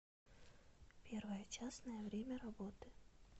первая частная время работы